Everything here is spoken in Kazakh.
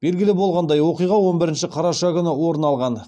белгілі болғандай оқиға он бірінші қараша күні орын алған